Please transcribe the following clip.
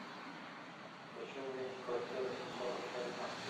хочу увидеть квартира сто сорок три